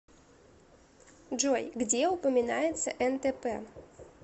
джой где упоминается нтп